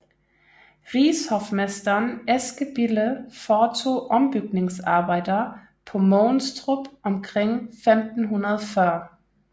Rigshofmesteren Eske Bille foretog ombygningsarbejder på Mogenstrup omkring 1540